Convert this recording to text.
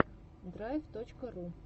драйв точка ру